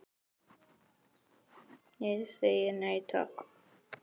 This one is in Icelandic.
Ég segi nei, takk.